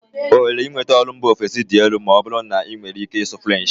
Ohere inweta ọrụ mba ofesi dị elu ma ọ bụrụ na ị nwere ike ịsụ French.